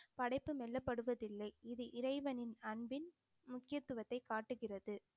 படைப்பு மெல்லப்படுவதில்லை இது இறைவனின் அன்பின் முக்கியத்துவத்தை காட்டுகிறது